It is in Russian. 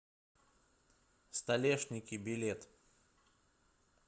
столешники билет